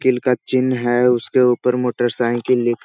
किल का चिन्ह है उसके ऊपर मोटर साइकिल लिख --